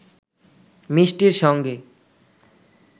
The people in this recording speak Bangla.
মিষ্টির সঙ্গে